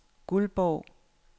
Guldborg